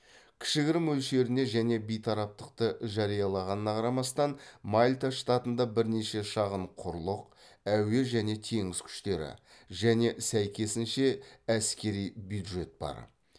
кішігірім мөлшеріне және бейтараптықты жариялағанына қарамастан мальта штатында бірнеше шағын құрлық әуе және теңіз күштері және сәйкесінше әскери бюджет бар